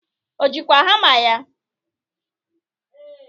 O ji kwa hama ya?